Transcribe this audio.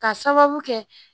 K'a sababu kɛ